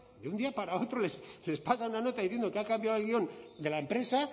de un día para otro les pasan una nota diciendo que ha cambiado el guion de la empresa